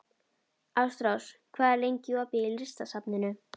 Ástrós, hvað er lengi opið í Listasafninu?